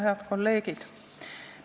Head kolleegid!